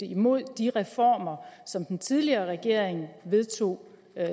imod de reformer som den tidligere regering vedtog og